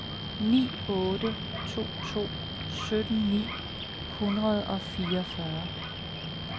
ni otte to to sytten ni hundrede og fireogfyrre